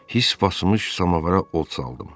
His basmış samovara od çaldım.